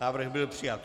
Návrh byl přijat.